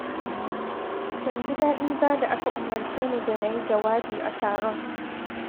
Ban ji daɗi ba da aka umarce ni da na yi jawabi a taron.